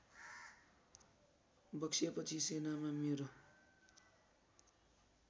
बक्सेपछि सेनामा मेरो